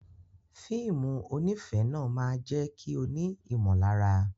Fíìmù onífẹ̀ẹ́ náà máa jẹ́ kí o ní ìmọ̀lára.